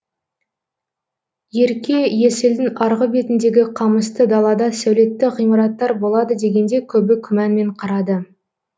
ерке есілдің арғы бетіндегі қамысты далада сәулетті ғимараттар болады дегенде көбі күмәнмен қарады